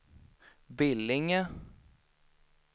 Billinge